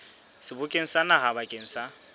sebokeng sa naha bakeng sa